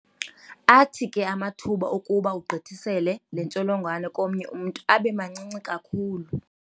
Athi ke amathuba okuba ugqithisele le ntsholongwane komnye umntu abe mancinci kakhulu.